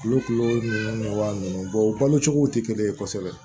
Kulo kilo wa ninnu o balo cogo tɛ kelen ye kosɛbɛ